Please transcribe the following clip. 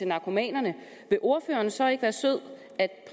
narkomanerne vil ordføreren så ikke være sød